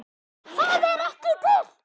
ÞAÐ ER EKKI TIL!!!